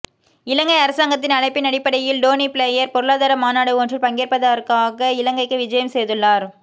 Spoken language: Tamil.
இலங்கை அரசாங்கத்தின் அழைப்பின் அடிப்படையில் டோனி பிளயர் பொருளாதார மாநாடு ஒன்றில் பங்கேற்பதற்காக இலங்கைக்கு விஜயம் செய்துள்ளார்